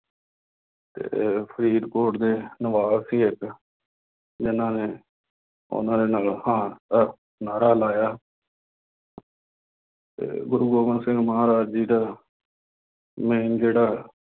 ਅਤੇ ਫਰੀਦਕੋਟ ਦੇ ਨਵਾਬ ਸੀ ਇੱਕ ਜਿੰਨ੍ਹਾ ਨੇ ਉਹਨਾ ਦੇ ਨਗਰ ਦਾ ਨਾਅਰਾ ਲਾਇਆ। ਅਤੇ ਗੁਰੂ ਗੋਬਿੰਦ ਸਿੰਘ ਮਹਾਰਾਜ ਜੀ ਦਾ main ਜਿਹੜਾ